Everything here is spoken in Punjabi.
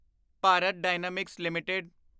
Bharat Dynamics LTD